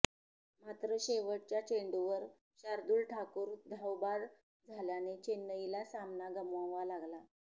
मात्र शेवटच्या चेंडूवर शार्दूल ठाकूर धावबाद झाल्याने चेन्नईला सामना गमवावा लागला